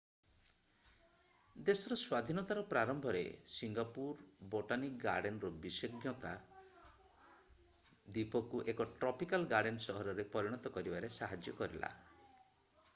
ଦେଶର ସ୍ଵାଧୀନତାର ପ୍ରାରମ୍ଭରେ ସିଙ୍ଗାପୁର ବୋଟାନିକ୍ ଗାର୍ଡେନ୍ ର ବିଶେଷଜ୍ଞତା ଦ୍ବୀପକୁ ଏକ ଟ୍ରପିକାଲ୍ ଗାର୍ଡେନ୍ ସହରରେ ପରିଣତ କରିବାରେ ସାହାଯ୍ୟ କରିଲା